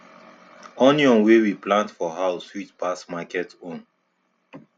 onion wey we plant for house sweet pass market own